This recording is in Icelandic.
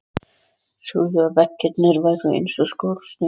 Sögðu að veggirnir væru eins og skorsteinn.